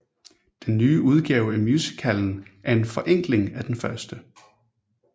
Den nye udgave af musicalen er en forenkling af den første